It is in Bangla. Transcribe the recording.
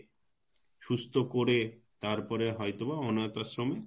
তারপরে হয়তোবা অনাথ আশ্রমে